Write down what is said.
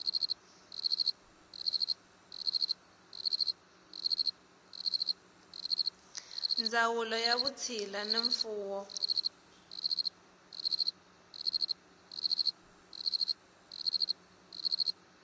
ndzawulo ya vutshila na mfuwo